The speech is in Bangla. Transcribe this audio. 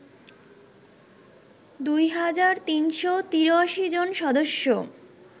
দুই হাজার ৩৮৩ জন সদস্য